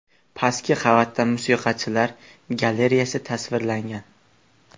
Pastki qavatda musiqachilar galareyasi tasvirlangan.